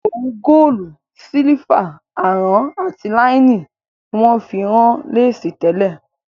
Òwu Góòlù, sílífà, àrán àti láínì ni wón fi ń rán Léèsì tẹ́lẹ̀